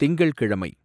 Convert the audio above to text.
திங்கள்கிழமை